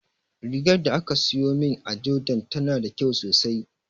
Rigar da aka siyo min a jordan tana da kyau sosai